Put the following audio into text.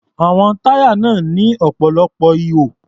Àwọn táyà náà ní ọ̀pọ̀lọpọ̀ ihò.